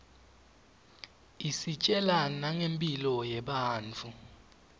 isitjela nangemphilo yebantfu